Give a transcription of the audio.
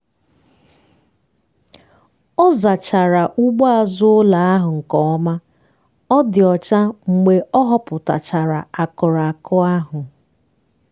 ọ zachara ugbo azụ ụlọ ahụ nke ọma ọ dị ọcha mgbe ọ họpụtachara akụrụ akụ ahụ.